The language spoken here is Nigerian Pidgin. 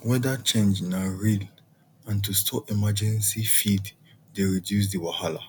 weather change na real and to store emergency feed dey reduce the wahala